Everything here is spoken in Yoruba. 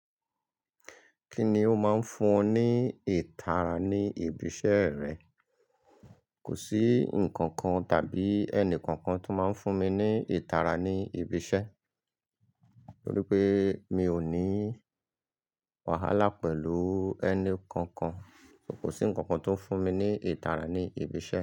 Kí ni ó máa ń fún ọ ní ìtara ní ibi iṣẹ́ rẹ? Kò sí ǹkan kan tàbí ẹni kankan tó máa ń fún mi ní ìtara ní ibi iṣẹ́, nítorí pé mi ò ní wàhálà pẹ̀lú ẹni kankan. Kò sí ǹkan kan tó ń fún mi ní ìtara ní ibi iṣẹ́.